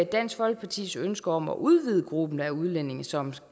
dansk folkepartis ønske om at udvide gruppen af udlændinge som